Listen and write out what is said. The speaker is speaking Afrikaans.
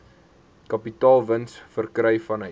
kapitaalwins verkry vanuit